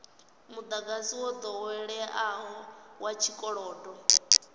mudagasi wo doweleaho wa tshikolodo